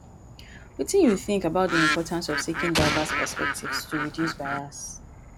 wetin you think about di importance of seeking diverse perspectives to reduce bias?